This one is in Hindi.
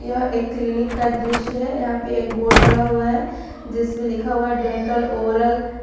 यह एक क्लीनिक का दृश्य है यहां पे एक बोर्ड लगा हुआ है जिस पे लिखा हुआ है डेंटल ओरल --